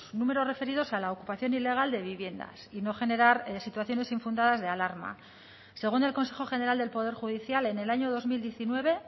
números referidos a la ocupación ilegal de viviendas y no generar situaciones infundadas de alarma según el consejo general del poder judicial en el año dos mil diecinueve